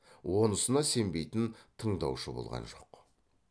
онысына сенбейтін тыңдаушы болған жоқ